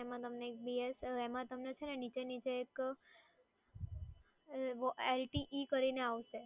એમાં છે ને નીચે નીચે તમે LTE કરીને એક આવશે